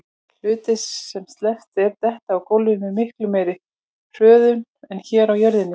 Hlutir sem sleppt er detta á gólfið með miklu meiri hröðun en hér á jörðinni.